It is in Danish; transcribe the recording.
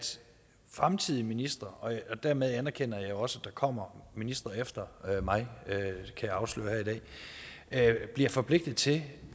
fremtidige ministre og dermed anerkender jeg jo også at der kommer ministre efter mig kan jeg afsløre her i dag bliver forpligtet til